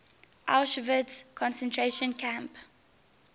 auschwitz concentration camp